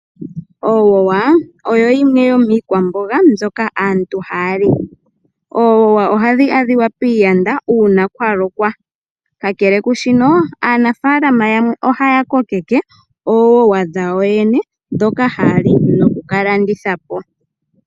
Owowa oyo yimwe yomiikwamboga mbyoka aantu ha ya li. Owowa oha yi adhika piiyanda uuna kwa lokwa kakele kushino, aanafaalam yamwe oha ya kokeke oowowa dhawo ndhoka ha ya li noku ka landitha po.